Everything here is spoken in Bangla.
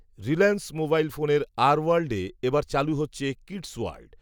রিলায়েন্স মোবাইল ফোনের আর ওয়ার্ল্ডএ এ বার চালু হচ্ছে কিডস্ওয়ার্ল্ড